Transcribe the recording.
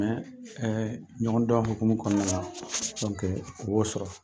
ɛɛ ɲɔgɔn dɔn hokumu kɔnɔna la , o b'o sɔrɔ.